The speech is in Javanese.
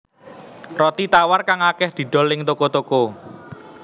Roti tawar kang akèh didol ing toko toko